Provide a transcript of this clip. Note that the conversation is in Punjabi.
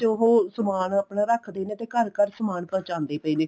ਉਹ ਸਮਾਨ ਆਪਣਾ ਰੱਖਦੇ ਨੇ ਤੇ ਘਰ ਘਰ ਸਮਾਨ ਪਹੁੰਚਾਉਂਦੇ ਪਏ ਨੇ